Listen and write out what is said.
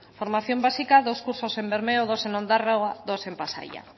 formación básica dos cursos en bermeo dos en ondarroa dos en pasaia